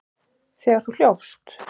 Þegar þú hljópst?